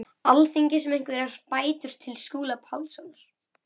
Alþingis um einhverjar bætur til Skúla Pálssonar.